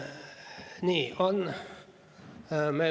Nii on.